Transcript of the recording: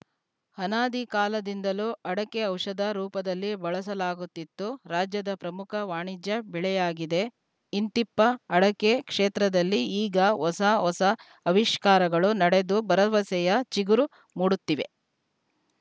ಅನಾದಿ ಕಾಲದಿಂದಲೂ ಅಡಕೆ ಔಷಧ ರೂಪದಲ್ಲಿ ಬಳಸಲಾಗುತ್ತಿತ್ತು ರಾಜ್ಯದ ಪ್ರಮುಖ ವಾಣಿಜ್ಯ ಬೆಳೆಯಾಗಿದೆ ಇಂತಿಪ್ಪ ಅಡಕೆ ಕ್ಷೇತ್ರದಲ್ಲಿ ಈಗ ಹೊಸ ಹೊಸ ಆವಿಷ್ಕಾರಗಳು ನಡೆದು ಭರವಸೆಯ ಚಿಗುರು ಮೂಡುತ್ತಿವೆ